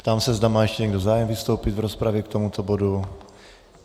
Ptám se, zda má ještě někdo zájem vystoupit v rozpravě k tomuto bodu.